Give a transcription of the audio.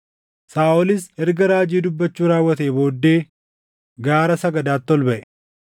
Saaʼolis erga raajii dubbachuu raawwatee booddee gaara sagadaatti ol baʼe.